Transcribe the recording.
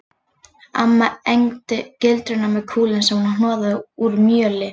Amma egndi gildrurnar með kúlum sem hún hnoðaði úr mjöli